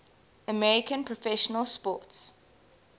american professional sports